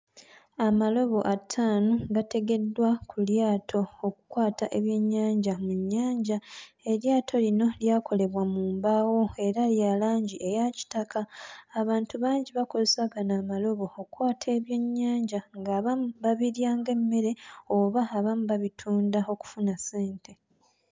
Amalobo ataano gategeddwa ku lyato okkwata ebyennyanja mu nnyanja, eryato lino lyakolebwa mu mbaawo era lya langi eya kitaka, abantu bangi bakozesa gano amalobo, okkwata ebyennyanja ng'abamu babirya ng'emmere oba abamu babitunda okufuna ssente.